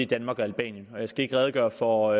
danmark og albanien jeg skal ikke redegøre for